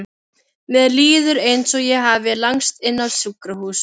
Mér líður eins og ég hafi lagst inn á sjúkrahús.